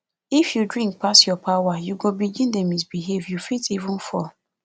if you drink pass your power you go begin dey misbehave you fit even fall